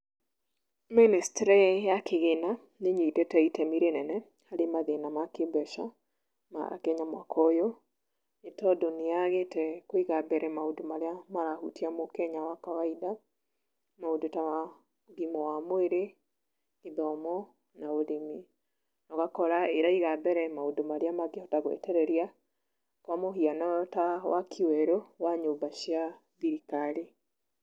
Ministry ya kĩgĩna nĩ ĩnyitete itemi rĩnene harĩ mathĩna ma kĩmbeca, ma Kenya mwaka ũyũ, nĩ tondũ nĩ yagĩte kũiga mbere maũndũ marĩa marahutia mũkenya wa kawaida. Maũndũ ta, ũgima wa mwĩrĩ, gĩthomo, na ũrĩmi. Ũgakora ĩraiga mbere maũndũ marĩa mangĩhota gũetereria. Kwa mũhiano ta waki werũ wa nyũmba cia thirikari.